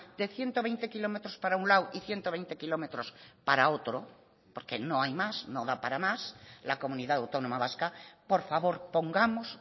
de ciento veinte kilómetros para un lado y ciento veinte kilómetros para otro porque no hay más no da para más la comunidad autónoma vasca por favor pongamos